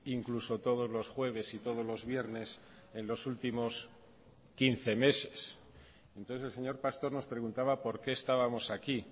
incluso todos los jueves y todos los viernes en los últimos quince meses entonces el señor pastor nos preguntaba por qué estábamos aquí